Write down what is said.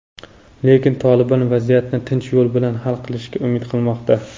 lekin "Tolibon" vaziyatni tinch yo‘l bilan hal qilishga umid qilmoqda.